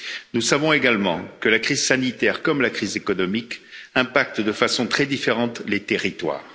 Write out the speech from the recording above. Nous savons également que la crise sanitaire, comme la crise économique, impactent de façon très différente les territoires.